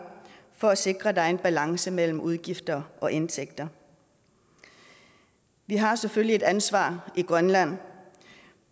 for at sikre at der er balance mellem udgifter og indtægter vi har selvfølgelig et ansvar i grønland